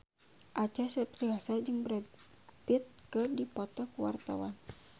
Acha Septriasa jeung Brad Pitt keur dipoto ku wartawan